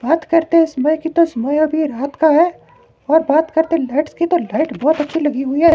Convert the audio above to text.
बात करते हैं समय की तो समय अभी रात का है और बात करते लाइट्स की तो लाइट बहोत अच्छी लगी हुई है।